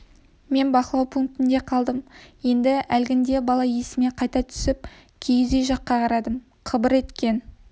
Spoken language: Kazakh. мен бақылау пунктінде қалдым енді әлгіндегі бала есіме қайта түсіп киіз үй жаққа қарадым қыбыр еткен